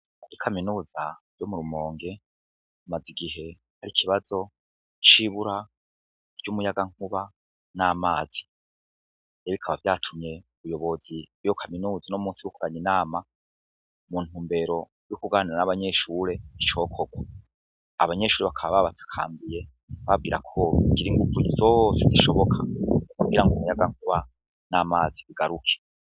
Muri kaminuza yo mu rumonge hamaze igihe hari ikibazo c'ibura ry'umuyaga nkuba n'amazi rero bikaba vyatumye ubuyobozi bwiyo kaminuza uno musi bukoranya inama mu ntumbero yo kuganira n'abanyeshure icokorwa abanyeshure bakaba babatakambiye babawira ko bogira inguvu zose zishoboka kugira ngo umuyaga nkuba n'amazi bigaruke.